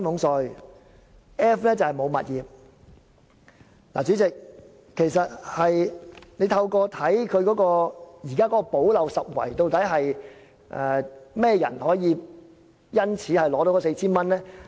代理主席，其實透過政府的"補漏拾遺"方案，究竟甚麼人可以受惠，取得該 4,000 元？